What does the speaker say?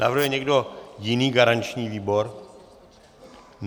Navrhuje někdo jiný garanční výbor?